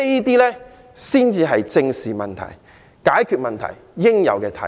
這些才是正視問題、解決問題應有的態度。